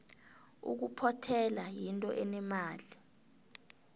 ukuphothela yinto enemali